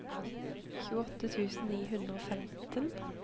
tjueåtte tusen ni hundre og femten